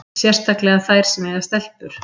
Sérstaklega þær sem eiga stelpur.